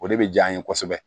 O de bɛ jaa an ye kosɛbɛ